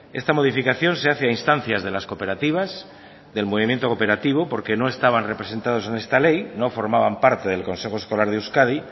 esta modificación se hace a instancias de las cooperativas del movimiento cooperativo porque no estaban representados en esta ley no formaban parte del consejo escolar de euskadi